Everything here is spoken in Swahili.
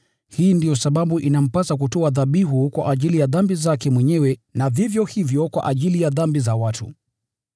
Hii ndiyo sababu inampasa kutoa dhabihu kwa ajili ya dhambi zake mwenyewe na vivyo hivyo kwa ajili ya dhambi za watu.